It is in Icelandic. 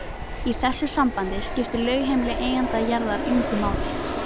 Í þessu sambandi skiptir lögheimili eiganda jarðar engu máli.